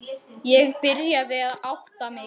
Ég byrjaði að átta mig.